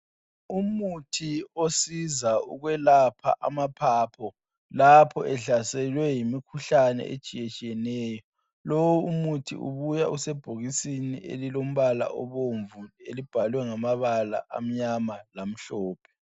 Ukuthi osiza ukwelapha amaphaphu. Lapho ehlaselwe yimikhuhlane etshiyetshiyeneyo. Lo umuthi ubuya usebhokisini elilombala obomvu elibhalwe ngamabala amnyama labomvu.